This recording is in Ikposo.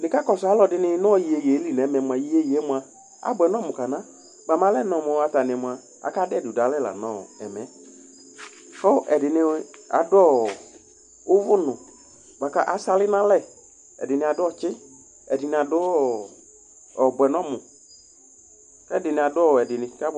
Nika kɔsʋ aluɛdɩnɩ nʋ iyeye li nʋ ɛmɛ mʋa, iyeye yɛ abʋɛ nʋ ɔmʋ kana Bʋamɛ ɔlɛnɔ mʋ atani mʋa, akadu ɛdɩ dualɛ la nʋ ɛmɛ Kʋ ɛdɩnɩ adʋ uvunʋ bʋaku asali nʋ alɛ Ɛdɩnɩ adʋ ɔtsɩ, ɛdɩnɩ adʋ ɔbʋɛ nʋ ɔmʋ Ɛdɩnɩ adʋ ɔwɛ kʋ abʋɛ